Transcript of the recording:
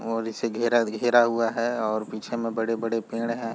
और इसे घेरा-घेरा हुआ है और पीछे में बड़े-बड़े पेड़ हैं ।